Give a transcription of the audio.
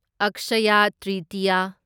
Akshaya Tritiya